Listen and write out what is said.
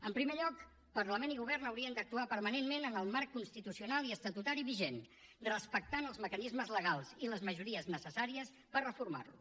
en primer lloc parlament i govern haurien d’actuar permanentment en el marc constitucional i estatutari vigent respectant els mecanismes legals i les majories necessàries per reformar lo